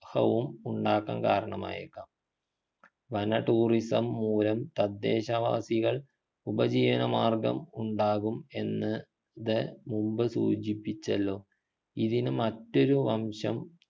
ഹവും ഉണ്ടാക്കാൻ കാരണമായേക്കാം വന tourism മൂലം തദ്ദേശവാസികൾ ഉപജീവനമാർഗം ഉണ്ടാകും എന്ന് ത് മുമ്പ് സൂചിപ്പിച്ചല്ലോ ഇതിനു മറ്റൊരു വംശം